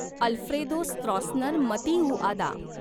Alfredo Stroessner Matiauda